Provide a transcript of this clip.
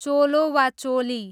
चोलो वा चोली